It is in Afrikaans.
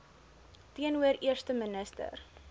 teenoor eerste minister